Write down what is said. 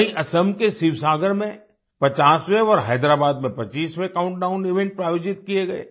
वहीं असम के शिवसागर में 50वें और हैदराबाद में 25वें काउंटडाउन इवेंट आयोजित किये गए